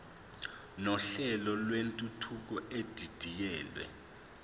nohlelo lwentuthuko edidiyelwe